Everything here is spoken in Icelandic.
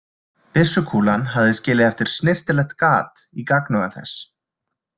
Byssukúlan hafði skilið eftir snyrtilegt gat í gagnauga þess.